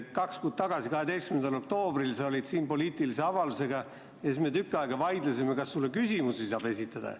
Kaks kuud tagasi, 12. oktoobril sa olid siin poliitilise avaldusega ja siis me tükk aega vaidlesime, kas sulle saab küsimusi esitada.